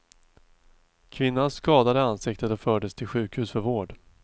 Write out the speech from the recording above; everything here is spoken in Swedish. Kvinnan skadade ansiktet och fördes till sjukhus för vård.